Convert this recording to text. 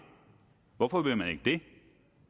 hvorfor vil man ikke det